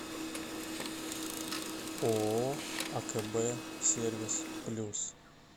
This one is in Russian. ооо акб сервис плюс